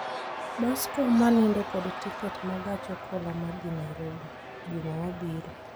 Bus kom ma nindo kod tiket ma gach okoloma dhi Nairobi juma mabiro